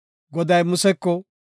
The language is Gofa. Goday Museko,